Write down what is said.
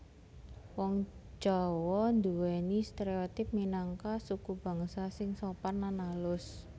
Wong Jawa nduwèni stereotipe minangka sukubangsa sing sopan lan alus